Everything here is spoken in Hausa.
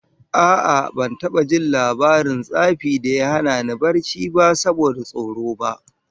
A'a, ban taba jin labarin tsafi da ya hana ni barci ba saboda tsoro ba